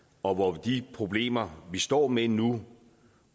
og hvor de problemer vi står med nu